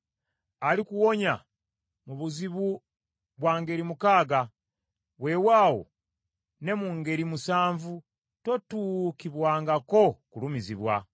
Alikuwonya mu buzibu bwa ngeri mukaaga. Weewaawo ne mu ngeri musanvu tootuukibwengako kulumizibwa.